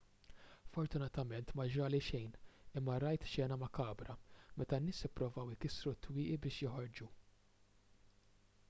fortunatament ma ġrali xejn imma rajt xena makabra meta n-nies ippruvaw ikissru t-twieqi biex joħorġu